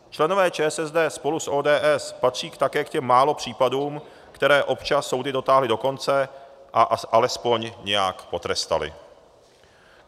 Členové ČSSD spolu s ODS patří také k těm málo případům, které občas soudy dotáhly do konce a alespoň nějak potrestaly.